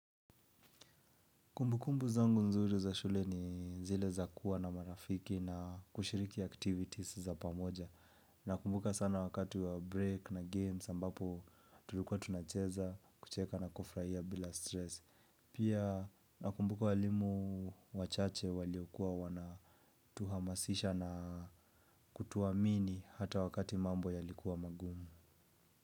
Kumbukumbu zangu nzuri za shule ni zile za kuwa na marafiki na kushiriki activities za pamoja. Nakumbuka sana wakati wa break na games ambapo tulikuwa tunacheza, kucheka na kufurahia bila stress. Pia nakumbuka walimu wachache waliokuwa wanatuhamasisha na kutuamini hata wakati mambo yalikuwa magumu.